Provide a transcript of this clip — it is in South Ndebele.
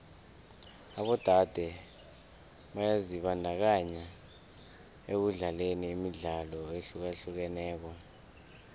abodade byazibandakanya ekudlaleni imidlalo ehlukahlukeneko